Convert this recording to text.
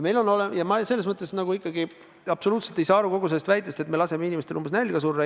Ma selles mõttes ikkagi absoluutselt ei saa aru sellest väitest, et me laseme inimestel vaat et nälga surra.